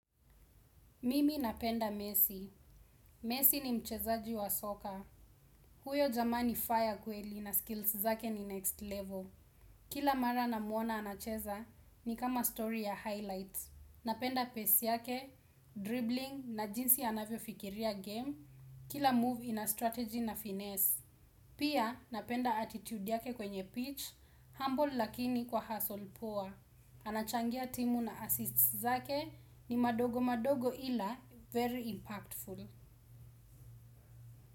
Mimi napenda mesi. Mesi ni mchezaji wa soka. Huyo jamaa ni fire kweli na skills zake ni next level. Kila mara namuona anacheza ni kama story ya highlights. Napenda pace yake, dribbling na jinsi anavyo fikiria game. Kila move ina strategy na finesse. Pia napenda attitude yake kwenye pitch, humble lakini kwa hustle poa. Anachangia timu na assists zake ni madogo madogo ila very impactful.